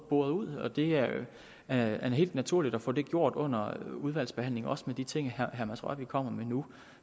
boret ud og det er da helt naturligt at få det gjort under udvalgsbehandlingen også hvad angår de ting herre mads rørvig kommer med nu